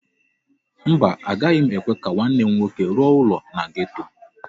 Mba, agaghị m ekwe ka nwanne m nwoke rụọ ụlọ na geto.